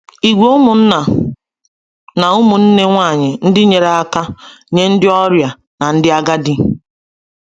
Ìgwè ụmụnna na ụmụnne nwanyị ndị nyere aka nye ndị ọrịa na ndị agadi.